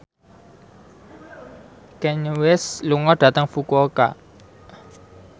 Kanye West lunga dhateng Fukuoka